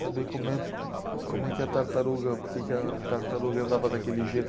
Sabia como é, como é que a tartaruga, porque que a tartaruga andava daquele jeito.